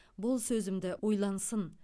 бұл сөзімді ойлансын